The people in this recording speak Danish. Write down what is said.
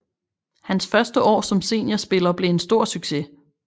Hans første år som seniorspiller blev en stor succes